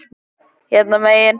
Hérna megin.